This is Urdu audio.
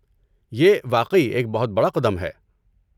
یہ واقعی ایک بہت بڑا قدم ہے۔